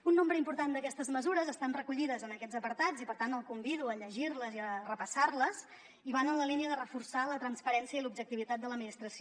un nombre important d’aquestes mesures estan recollides en aquests apartats i per tant el convido a llegir les i a repassar les i van en la línia de reforçar la transparència i l’objectivitat de l’administració